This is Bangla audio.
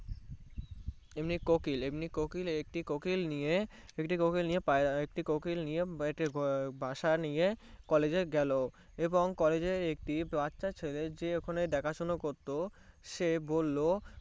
এমনি কোকিল নিয়ে বাসা নিয়ে College এ গেলো এবং কলেজ এ গিয়ে একটি বাচ্চা ছেলে যে ওখানে দেখা শুনো করতে সে বললো